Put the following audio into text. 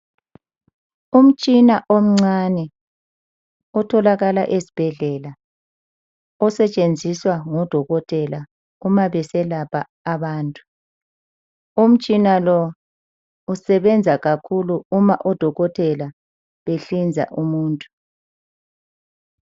umtshina omncane otholakala esibhedlela osetshenziswa ngodokotela kuma beselapha abantu umtshina lousebenza kakhulu kuma odokotelabehlinza umuntu